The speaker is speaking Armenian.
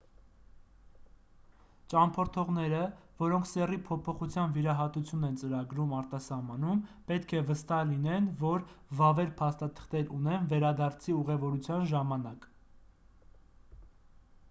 ճամփորդողները որոնք սեռի փոփոխության վիրահատություն են ծրագրում արտասահմանում պետք է վստահ լինեն որ վավեր փաստաթղթեր ունեն վերադարձի ուղևորության ժամանակ